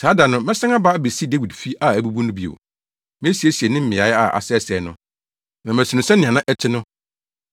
“Saa da no, mɛsan aba abesi “Dawid fi a abubu no bio. Mesiesie ne mmeae a asɛesɛe no, na masi no sɛnea na ɛte no,